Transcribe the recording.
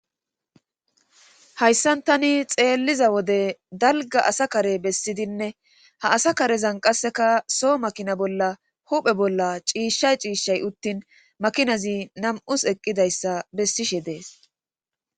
Hayssan tani xeelliza wode dalgga asa kare bessidenne ha asa karezan qasseka so makina bolla huuphe bolla ciishay ciishay uttin makinazi nam7is eqqidayssa bessiashe dees.